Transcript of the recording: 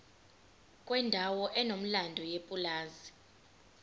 kwendawo enomlando yepulazi